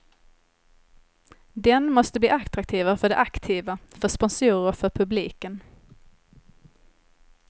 Den måste bli attraktivare för de aktiva, för sponsorer och för publiken.